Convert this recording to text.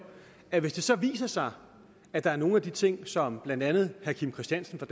at hvis det så viser sig at nogle af de ting som blandt andet herre kim christiansen fra